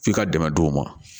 F'i ka dɛmɛ don o ma